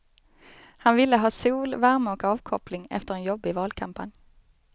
Han ville ha sol, värme och avkoppling efter en jobbig valkampanj.